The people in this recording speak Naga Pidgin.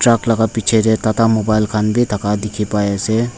truck laka bichae tae tata mobile khan bi thaka dikhipaiase.